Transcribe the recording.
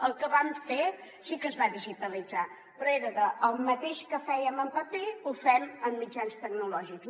el que vam fer sí que es va digitalitzar però era el mateix que fèiem en paper ho fem amb mitjans tecnològics